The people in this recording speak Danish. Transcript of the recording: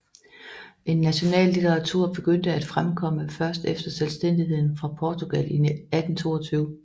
En national litteratur begyndte at fremkomme først efter selvstændigheden fra Portugal i 1822